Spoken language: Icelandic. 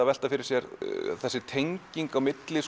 að velta fyrir sér tengingu